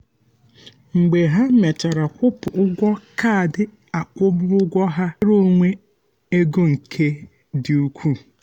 mgbe ha mechara kwụpụ um ụgwọ kaadị akwụmụgwọ ha ha nwere mmetụta nnwere onwe ego nke dị ukwuu.